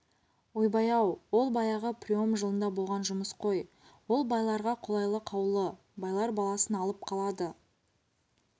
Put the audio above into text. ойбай-ау ол баяғы прием жылында болған жұмыс қой ол байларға қолайлы қаулы байлар баласын алып қалады